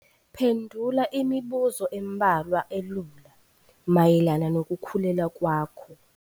Phendula imibuzo embalwa elula mayelana nokukhulelwa kwakho.